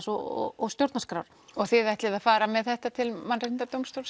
og stjórnarskrár þið ætlið að fara með þetta til Mannréttindadómstóls